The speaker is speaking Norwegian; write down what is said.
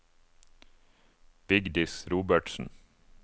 Vigdis Robertsen